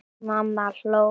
Mamma hló.